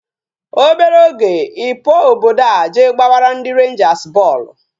Obere oge I pụọ obodo a je gbabara ndị Rangers bọọlụ